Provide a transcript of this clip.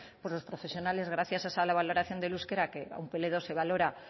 pues los profesionales gracias a esa valoración del euskera que a un pe ele dos se valora